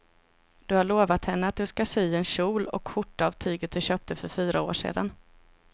Du har lovat henne att du ska sy en kjol och skjorta av tyget du köpte för fyra år sedan.